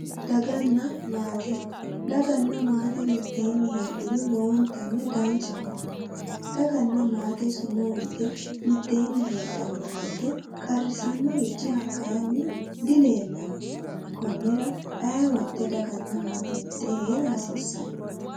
Daganna maate daganna maate mitteenni heedhuro lowontanni danchaho daganna maate sumuu yite mitteenni heedhanno woyite qarrisannorichi hakkeyanni dileellanno konnira aye woyinte daganna maate mittee heera hasiissanno